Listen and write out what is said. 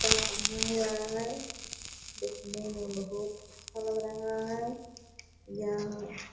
जूता पहना हुआ है देखने मे बहुत अच्छा लग रहा है यह --